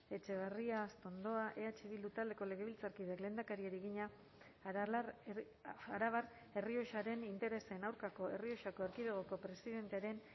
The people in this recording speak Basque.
etxebarria astondoa eh bildu taldeko legebiltzarkideak lehendakariari egina arabar errioxaren interesen aurkako errioxako erkidegoko presidentearen